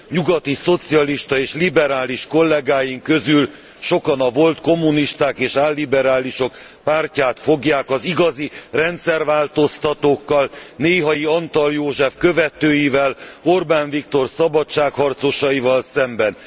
Nyugati szocialista és liberális kollegáink közül sokan a volt kommunisták és álliberálisok pártját fogják az igazi rendszerváltoztatókkal, néhai Antall József követőivel, Orbán Viktor szabadságharcosaival szemben.